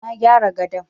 Na gyara gadon.